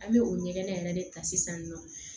An bɛ o ɲɛgɛn yɛrɛ de ta sisan nɔ